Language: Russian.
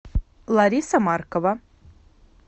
лариса маркова